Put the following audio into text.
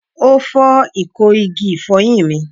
O fọ iko igi ifoyin mi